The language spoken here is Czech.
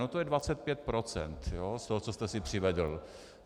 No to je 25 % z toho, co jste si přivedl.